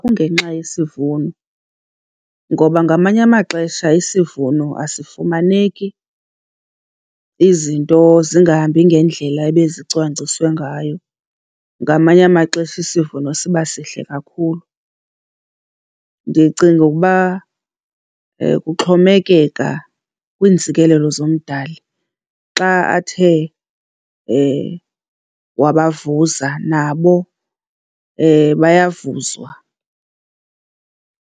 Kungenxa yesivuno ngoba ngamanye amaxesha isivuno asifumaneki, izinto zingahambi ngendlela ebezicwangciswe ngayo. Ngamanye amaxesha isivuno siba sihle kakhulu. Ndicinga ukuba kuxhomekeka kwiintsikelelo zoMdali. Xa athe wabavuza nabo bayavuzwa,